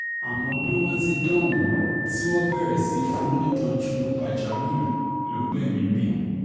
àmọ́ bí wọ́n ti dohun-ún tí wọ́n bẹ̀rẹ̀ sí í fún un nítọ́jú pàjáwìrì ló gbẹ̀mí mì